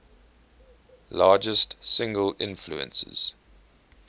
largest single influences